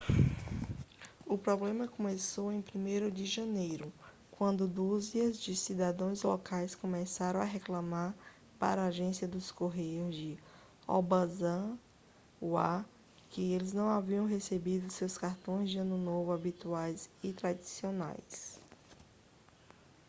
o problema começou em 1º de janeiro quando dúzias de cidadãos locais começaram a reclamar para a agência de correios de obanazawa que eles não haviam recebido seus cartões de ano novo habituais e tradicionais